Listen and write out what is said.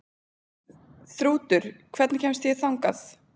Þrútur, hvernig kemst ég þangað?